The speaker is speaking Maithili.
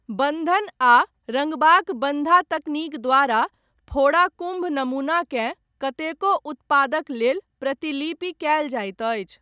बन्धन, आ रङ्गबाक बन्धा तकनीक द्वारा, फोड़ा कुम्भ नमूनाकेँ, कतेको उत्पादक लेल प्रतिलिपि कयल जाइत अछि।